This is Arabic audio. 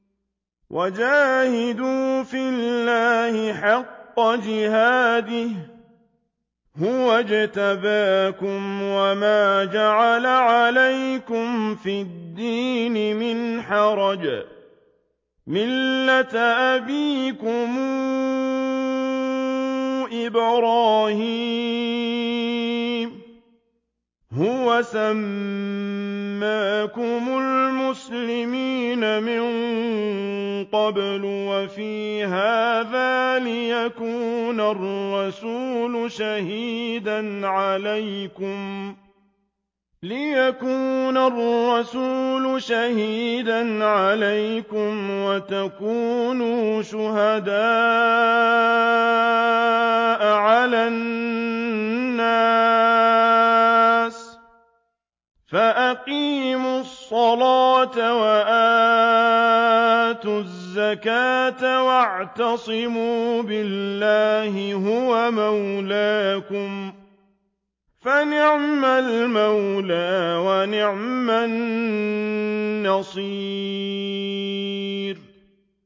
وَجَاهِدُوا فِي اللَّهِ حَقَّ جِهَادِهِ ۚ هُوَ اجْتَبَاكُمْ وَمَا جَعَلَ عَلَيْكُمْ فِي الدِّينِ مِنْ حَرَجٍ ۚ مِّلَّةَ أَبِيكُمْ إِبْرَاهِيمَ ۚ هُوَ سَمَّاكُمُ الْمُسْلِمِينَ مِن قَبْلُ وَفِي هَٰذَا لِيَكُونَ الرَّسُولُ شَهِيدًا عَلَيْكُمْ وَتَكُونُوا شُهَدَاءَ عَلَى النَّاسِ ۚ فَأَقِيمُوا الصَّلَاةَ وَآتُوا الزَّكَاةَ وَاعْتَصِمُوا بِاللَّهِ هُوَ مَوْلَاكُمْ ۖ فَنِعْمَ الْمَوْلَىٰ وَنِعْمَ النَّصِيرُ